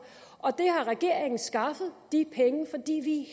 og regeringen har skaffet de penge fordi vi